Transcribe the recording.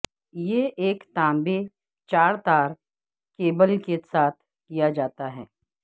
یہ ایک تانبے چار تار کیبل کے ساتھ کیا جاتا ہے